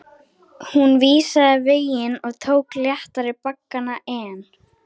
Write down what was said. Hún vísaði veginn og tók léttari baggana en